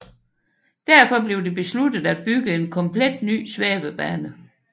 Derfor blev det besluttet at bygge en komplet ny svævebane